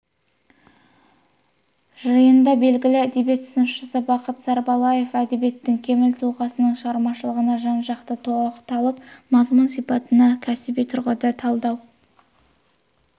жиында белгілі әдебиет сыншысы бақыт сарбалаев әдебиеттің кемел тұлғасының шығармашылығына жан-жақты тоқталып мазмұн-сипатына кәсіби тұрғыда талдау